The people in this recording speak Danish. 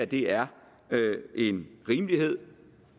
det er en rimelighed